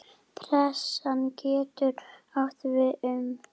Pressan getur átt við um